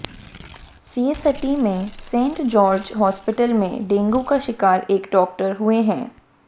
CST के Saint George hospital में dengue का शिकार एक डॉक्टर हुए हैं